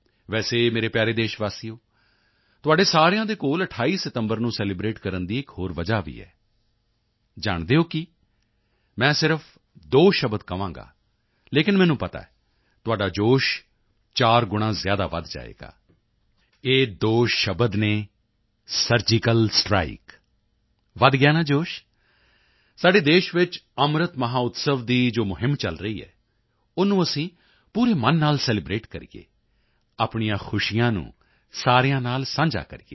ਵੈਸੇ ਮੇਰੇ ਪਿਆਰੇ ਦੇਸ਼ਵਾਸੀਓ ਤੁਹਾਡੇ ਸਾਰਿਆਂ ਦੇ ਕੋਲ 28 ਸਤੰਬਰ ਨੂੰ ਸੈਲਿਬ੍ਰੇਟ ਕਰਨ ਦੀ ਇੱਕ ਹੋਰ ਵਜ੍ਹਾ ਵੀ ਹੈ ਜਾਣਦੇ ਹੋ ਕੀ ਮੈਂ ਸਿਰਫ ਦੋ ਸ਼ਬਦ ਕਹਾਂਗਾ ਲੇਕਿਨ ਮੈਨੂੰ ਪਤਾ ਹੈ ਤੁਹਾਡਾ ਜੋਸ਼ ਚਾਰ ਗੁਣਾਂ ਜ਼ਿਆਦਾ ਵਧ ਜਾਵੇਗਾ ਇਹ ਦੋ ਸ਼ਬਦ ਹਨ ਸਰਜੀਕਲ ਸਟ੍ਰਾਈਕ ਵਧ ਗਿਆ ਨਾ ਜੋਸ਼ ਸਾਡੇ ਦੇਸ਼ ਵਿੱਚ ਅੰਮ੍ਰਿਤ ਮਹੋਤਸਵ ਦੀ ਜੋ ਮੁਹਿੰਮ ਚਲ ਰਹੀ ਹੈ ਓਹਨੂੰ ਅਸੀਂ ਪੂਰੇ ਮਨ ਨਾਲ ਸੈਲਿਬ੍ਰੇਟ ਕਰੀਏ ਆਪਣੀਆਂ ਖੁਸ਼ੀਆਂ ਨੂੰ ਸਾਰਿਆਂ ਨਾਲ ਸਾਂਝਾ ਕਰੀਏ